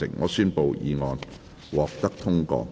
我宣布議案獲得通過。